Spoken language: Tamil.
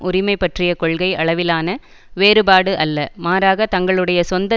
உரிமை பற்றிய கொள்கை அளவிலான வேறுபாடு அல்ல மாறாக தங்களுடைய சொந்த